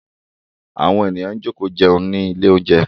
Àwọn èèyàn jókòó jẹun nílé oúnjẹ.